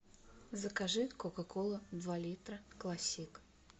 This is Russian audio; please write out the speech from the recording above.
закажи кока кола два литра классик